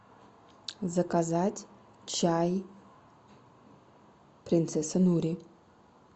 заказать чай принцесса нури